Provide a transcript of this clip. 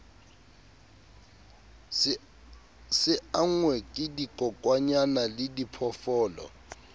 se angwe ke dikokwanyana lediphoofolo